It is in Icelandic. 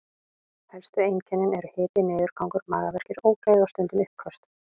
Helstu einkennin eru hiti, niðurgangur, magaverkir, ógleði og stundum uppköst.